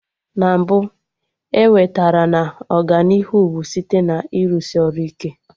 Na mbụ, ewetere na Ọganihu bụ site na ịrụsị ọrụ ike